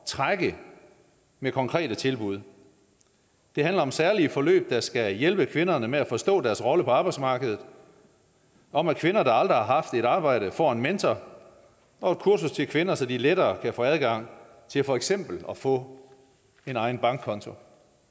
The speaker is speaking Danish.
trække med konkrete tilbud det handler om særlige forløb der skal hjælpe kvinderne med at forstå deres rolle på arbejdsmarkedet om at kvinder der aldrig har haft et arbejde får en mentor og et kursus til kvinder så de lettere kan få adgang til for eksempel at få en egen bankkonto